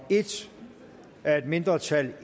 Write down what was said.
en af et mindretal